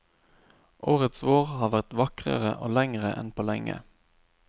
Årets vår har vært vakrere og lengre enn på lenge.